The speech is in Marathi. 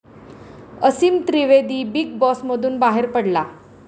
असीम त्रिवेदी बिग बॉसमधून बाहेर 'पडला'